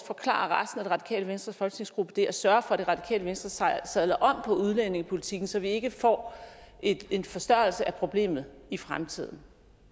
forklare resten af det radikale venstres folketingsgruppe det og sørge for at det radikale venstre sadler om på udlændingepolitikken så vi ikke får en forstørrelse af problemet i fremtiden